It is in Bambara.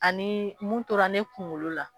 Ani mun tora ne kunkolo la.